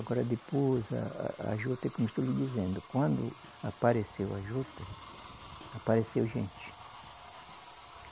Agora, depois, a a a juta, como estou lhe dizendo, quando apareceu a juta, apareceu gente.